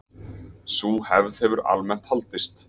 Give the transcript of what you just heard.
Sú hefð hefur almennt haldist.